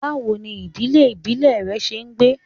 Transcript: Bawo ni idile ibile rẹ ṣe gbe?